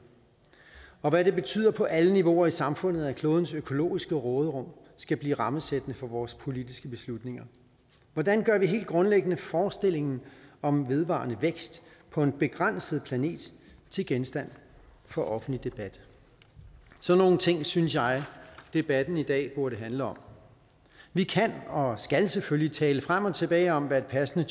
og hvad det betyder på alle niveauer i samfundet at klodens økologiske råderum skal blive rammesættende for vores politiske beslutninger hvordan gør vi helt grundlæggende forestillingen om vedvarende vækst på en begrænset planet til genstand for offentlig debat sådan nogle ting synes jeg debatten i dag burde handle om vi kan og skal selvfølgelig tale frem og tilbage om hvad et passende